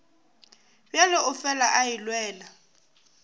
bjalo o fela a elelwa